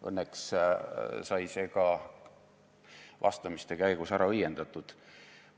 Õnneks sai see vastamiste käigus ära õiendatud.